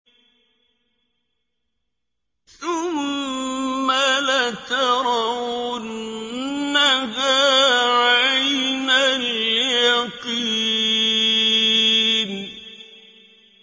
ثُمَّ لَتَرَوُنَّهَا عَيْنَ الْيَقِينِ